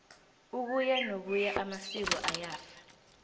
ukuya nokuya amasiko ayafa